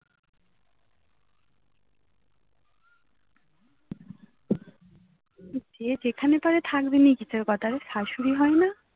যে যেখানে পারে থাকবিনি কি তোর কথায় শাশুড়ি হয় না